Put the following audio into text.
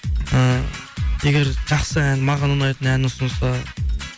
ы егер жақсы ән маған ұнайтын ән ұсынса